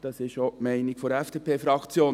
Das ist auch die Meinung der FDP-Fraktion.